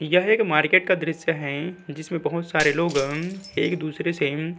यह एक मार्किट का दृश्य है जिसमे बहुत सारे लोगं एक दूसरे सें --